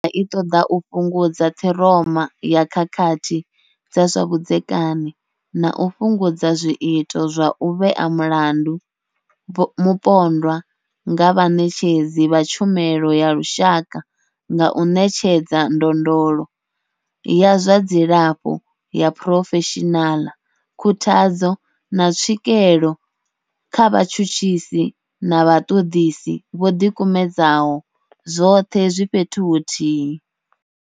Senthara i ṱoḓa u fhungudza ṱhiroma ya khakhathi dza zwa vhudzekani na u fhungudza zwiito zwa u vhea mulandu mupondwa nga vhaṋetshedzi vha tshumelo ya lushaka nga u ṋetshedza ndondolo ya zwa dzilafho ya phurofeshinala, khuthadzo, na tswikelo kha vhatshutshisi na vhaṱoḓisi vho ḓikumedzaho, zwoṱhe zwi fhethu huthihi.